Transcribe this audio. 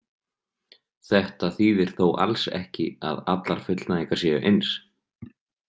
Þetta þýðir þó alls ekki að allar fullnægingar séu eins.